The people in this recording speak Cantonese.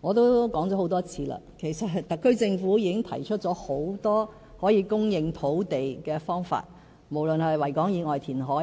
我也多次說過，其實特區政府已提出了很多可以供應土地的方法，例如在維多利亞港以外填海、